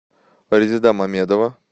резеда мамедова